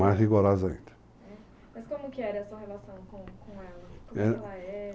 rigorosa ainda. Mas como que era a sua relação com com ela? Como ela era...